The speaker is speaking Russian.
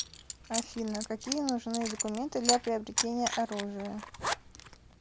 афина какие нужны документы для приобретения оружия